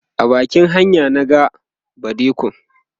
a bakin hanya na ga badikon